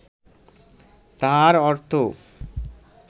তাহার অর্থ